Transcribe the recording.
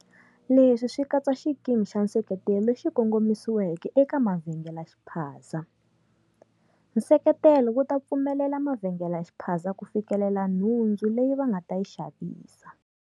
Leswi swi katsa xikimi xa nseketelo lexi kongomisiweke eka mavhengelexiphaza. Nseketelo wu ta pfumelela mavhengelexiphaza ku fikelela nhundzu leyi va nga ta yi xavisa.